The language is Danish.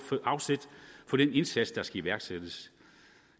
for den indsats der skal iværksættes